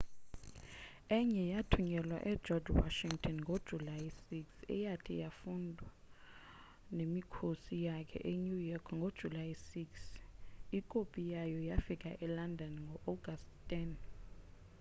enye yathunyelwa egeorge washington ngojulayi 6 eyathi mayifundwe nemikhosi yakhe enew york ngojulayi 9 ikopi yayo yafika elondon ngoagasti 10